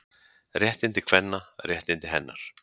Réttindi kvenna, réttindi hennar.